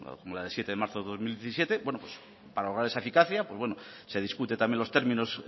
como la de siete de marzo del dos mil diecisiete para lograr esa eficacia se discute también los términos